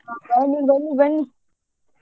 ಹಾ ಬನ್ನಿ ಬನ್ನಿ ಬನ್ನಿ.